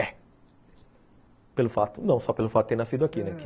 É, só pelo fato de ter nascido aqui.